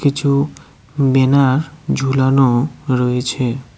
কিছু বেনার ঝুলানো রয়েছে।